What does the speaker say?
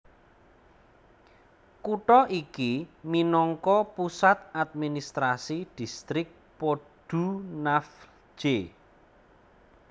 Kutha iki minangka pusat administrasi Distrik Podunavlje